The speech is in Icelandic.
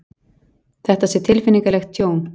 Þetta sé tilfinnanlegt tjón